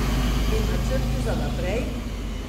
In načrti za naprej?